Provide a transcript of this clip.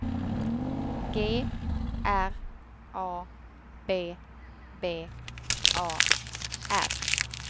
G R A B B A R